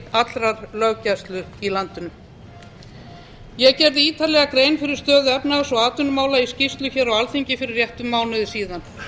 allrar löggæslu hér á landi ég gerði ítarlega grein fyrir stöðu efnahags og atvinnumála í skýrslu hér á alþingi fyrir réttum mánuði síðan